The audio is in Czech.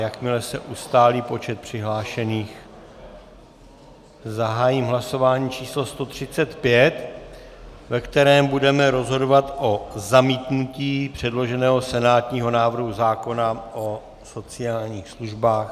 Jakmile se ustálí počet přihlášených, zahájím hlasování číslo 135, ve kterém budeme rozhodovat o zamítnutí předloženého senátního návrhu zákona o sociálních službách...